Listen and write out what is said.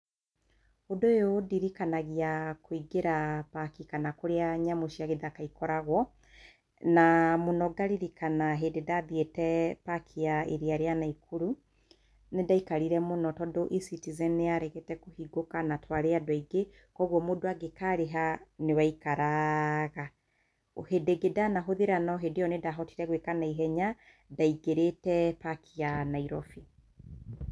Ũndũ ũyũ ũndirikanagia kũingĩra park kana kũrĩa nyamũ cia gĩthaka ikoragwo, na mũno ngaririkana hĩndĩ ndathiĩte park ya iria rĩa Naikuru, nĩ ndaikarire mũno tondũ eCitizen nĩ yaregete kũhingũka na twarĩ andũ aingĩ kwoguo mũndũ angĩkarĩha nĩwaikaraaga, hĩndĩ ĩngĩ ndanahũthĩra no hĩndĩ ĩyo nĩndahotire gwĩka na ihenya ndaingĩrĩte park ya Nairobi